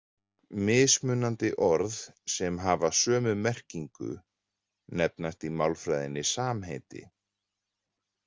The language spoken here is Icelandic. Mismunandi orð sem hafa sömu merkingu nefnast í málfræðinni samheiti.